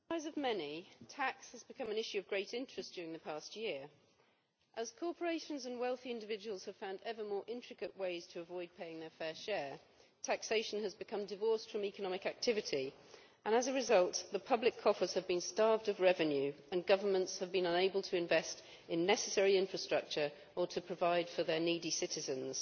Madam President, to the surprise of many, tax has become an issue of great interest during the past year. As corporations and wealthy individuals have found ever more intricate ways to avoid paying their fair share, taxation has become divorced from economic activity and, as a result, public coffers have been starved of revenue and governments have been unable to invest in necessary infrastructure or provide support for their needy citizens.